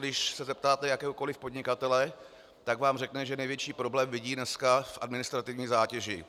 Když se zeptáte jakéhokoliv podnikatele, tak vám řekne, že největší problém vidí dnes v administrativní zátěži.